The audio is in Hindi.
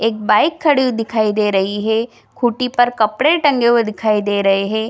एक बाइक खड़ी हुई दिखाई दे रही है। खुटी पर कपड़े टंगे हुए दिखाई दे रहे है।